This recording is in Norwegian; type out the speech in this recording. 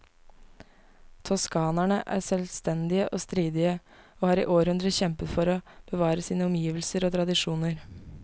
Toskanerne er selvstendige og stridige, og har i århundrer kjempet for å bevare sine omgivelser og tradisjoner.